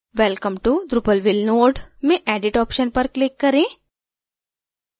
welcome to drupalville node में edit option पर click करें